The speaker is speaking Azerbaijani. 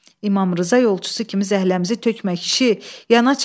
İmam Rza yolçusu kimi zəhləmizi tökmə, kişi, yana çəkil.